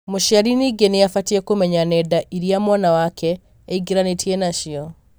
mũciari ningĩ nĩ abatie kũmenya nenda iria mwana wake eingĩranĩtie nacio.